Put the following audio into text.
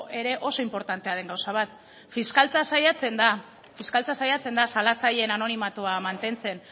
ere oso inportantea den gauza bat fiskaltza saiatzen da salatzaileen anonimatua mantentzen